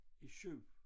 I 7